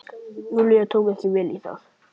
Júlía tók ekki vel í það.